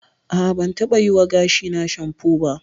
A'a, ban taɓa yiwa gashina shanfo ba.